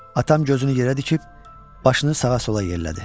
Atam gözünü yerə dikib başını sağa-sola yellədi.